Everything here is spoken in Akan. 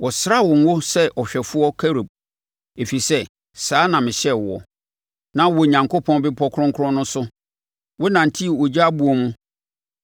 Wɔsraa wo ngo sɛ ɔhwɛfoɔ Kerub, ɛfiri sɛ saa na mehyɛɛ woɔ. Na wowɔ Onyankopɔn bepɔ kronkron no so; wonantee ogya aboɔ mu.